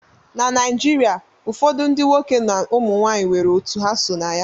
Na Naijiria ụfọdụ ndị nwoke na ụmụ nwanyị nwere otu ha so na ya